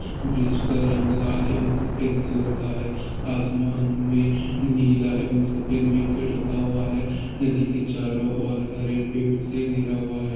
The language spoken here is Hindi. जिसका रंग लाल है और सफेद कलर का है आसमान में नीला एवं सफेद मिक्स से ढका हुआ है नदी के चारों और हरे पेड़ से घिरा हुआ है।